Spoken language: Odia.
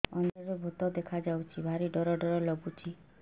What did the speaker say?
ଅନ୍ଧାରରେ ଭୂତ ଦେଖା ଯାଉଛି ଭାରି ଡର ଡର ଲଗୁଛି